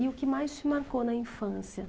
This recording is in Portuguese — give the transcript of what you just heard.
E o que mais te marcou na infância?